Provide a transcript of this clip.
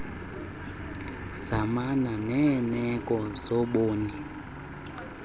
zamana neerneko zoborni